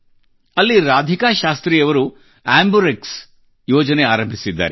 ಅಲ್ಲಿ ರಾಧಿಕಾ ಶಾಸ್ರ್ತಿ ಅವರು AmbuRxಆಂಬುರೆಕ್ಸ್ ಯೋಜನೆ ಆರಂಭಿಸಿದ್ದಾರೆ